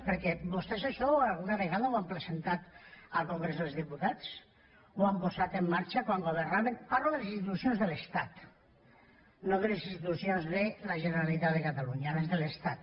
perquè vostès això alguna vegada ho han presentat al congrés dels diputats ho han posat en marxa quan governaven parlo de les institucions de l’estat no de les institucions de la generalitat de catalunya les de l’estat